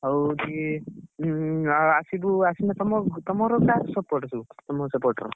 ଆଉ ହଉଛି ଉଁ ଆଉ ଆସିବୁ ଆସିଲେ ତମ ତମର କାହାର support ସବୁ ତମର ସେପଟର?